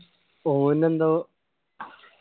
ഓന് എന്തോ